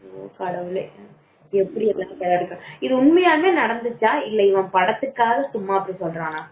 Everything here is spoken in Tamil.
கடவுளை இது உண்மையாவே நடந்துச்சா இல்ல படத்துக்காக இவன் அப்படி சொல்றானா